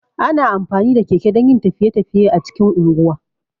Ana amfani da keke dan yin tafiye- tafiye a cikin unguwa